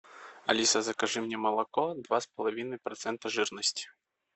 алиса закажи мне молоко два с половиной процента жирности